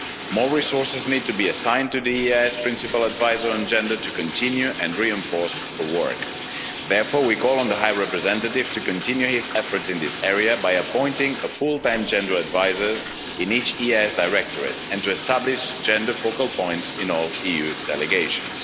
More resources need to be assigned to the EEAS Principal Advisor on Gender to continue and reinforce her work. Therefore, we call on the High Representative to continue his efforts in this area by appointing a full time gender adviser in each EEAS directorate and to establish gender focal points in all EU delegations.